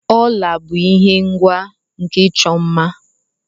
ọla bụ ihe ngwa nke ịchọ mma